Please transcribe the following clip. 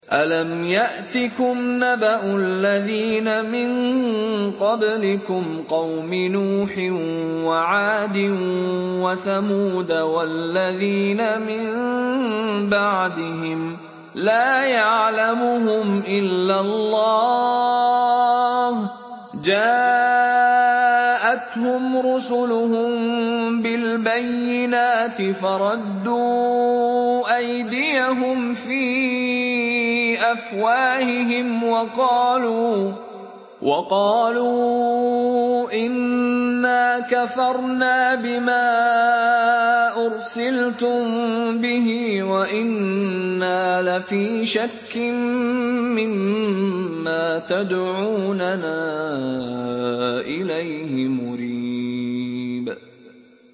أَلَمْ يَأْتِكُمْ نَبَأُ الَّذِينَ مِن قَبْلِكُمْ قَوْمِ نُوحٍ وَعَادٍ وَثَمُودَ ۛ وَالَّذِينَ مِن بَعْدِهِمْ ۛ لَا يَعْلَمُهُمْ إِلَّا اللَّهُ ۚ جَاءَتْهُمْ رُسُلُهُم بِالْبَيِّنَاتِ فَرَدُّوا أَيْدِيَهُمْ فِي أَفْوَاهِهِمْ وَقَالُوا إِنَّا كَفَرْنَا بِمَا أُرْسِلْتُم بِهِ وَإِنَّا لَفِي شَكٍّ مِّمَّا تَدْعُونَنَا إِلَيْهِ مُرِيبٍ